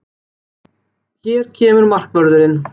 Hér kemur markvörðurinn!